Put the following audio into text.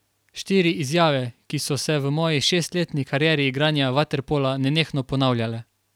Štiri izjave, ki so se v moji šestletni karieri igranja vaterpola nenehno ponavljale.